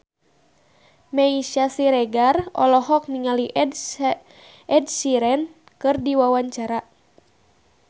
Meisya Siregar olohok ningali Ed Sheeran keur diwawancara